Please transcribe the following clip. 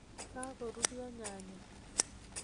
kagoruryo nyayek